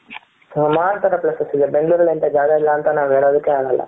ಸುಮಾರ್ ತರ places ಇದೆ ಬೆಂಗಳೂರಲ್ಲಿ ಇಂಥ ಜಾಗ ಇಲ್ಲ ಅಂತ ನಾವು ಹೇಳೋದಕ್ಕೆ ಆಗೋಲ್ಲ.